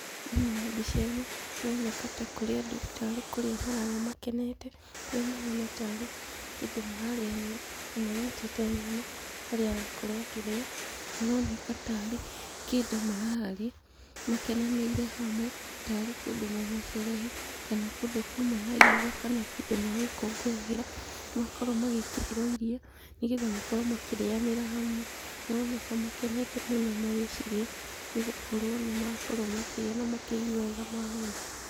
Thĩinĩ wa mbica ĩno, nĩ ĩroneka ta kũrĩ andũ ta rĩ kũrĩa mararĩa makenete, kũrĩa mahana ta rĩ kĩndũ mararĩanĩra ũmwe anyitĩte nyama, harĩa arakorwo akĩrĩa maroneka ta rĩ kĩndũ mararĩa makenanĩirĩ hamwe ta rĩ kũndũ mauma sherehe, kana kũndũ kũma na iruga, kana kĩndũ magũngũngũĩgĩra makorwo magĩkĩrĩrwo irio nĩgetha makorwo makĩrĩanĩra hamwe. Maroneka makenete mũno magĩcirĩa nĩ gũkorwo nĩ makorwo makĩrĩa na makĩigwa wega mahũna.